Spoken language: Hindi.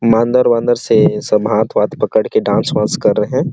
मांदर वांदर से सब हाथ वाथ पकड़ के डांस वांस कर रहै है।